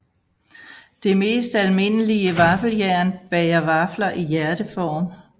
Det mest almindelige vaffeljern bager vafler i hjerteform